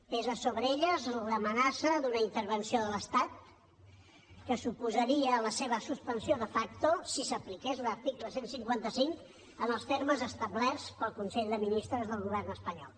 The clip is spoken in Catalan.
pesa sobre elles l’amenaça d’una intervenció de l’estat que suposaria la seva suspensió de facto si s’apliqués l’article cent i cinquanta cinc en els termes establerts pel consell de ministres del govern espanyol